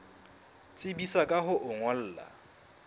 tsebisa ka ho o ngolla